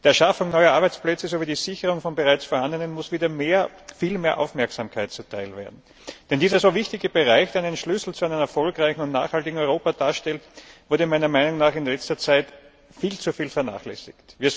Der Schaffung neuer Arbeitsplätze sowie der Sicherung von bereits vorhandenen muss wieder mehr, viel mehr Aufmerksamkeit zuteil werden. Denn dieser so wichtige Bereich kann einen Schlüssel zu einem erfolgreichen und nachhaltigen Europa darstellen und wurde meiner Meinung nach in letzter Zeit viel zu viel vernachlässigt.